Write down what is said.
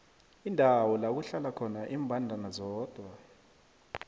indawo lakuhlala khona imbandana zodwa